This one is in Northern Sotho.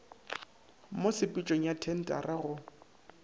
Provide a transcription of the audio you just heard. mo tshepetšong ya thentara go